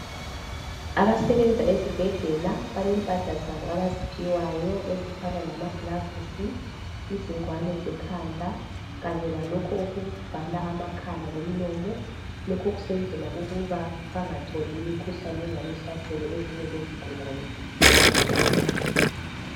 Abasebenza ezibhedlela balempahla zabo abaziphiwayo ezifana lamagilavisi, izingwane zekhanda kanye lalokhu okuvala amakhala lomlomo. Lokho kusenzelwa ukuba bangatholi imikhuhlane engabe ihlasele izigulane abazelaphayo.